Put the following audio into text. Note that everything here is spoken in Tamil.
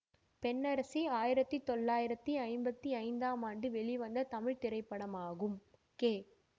பெண்ணரசி ஆயிரத்தி தொள்ளாயிரத்தி ஐம்பத்தி ஐந்தாம் ஆண்டு வெளிவந்த தமிழ் திரைப்படமாகும் கே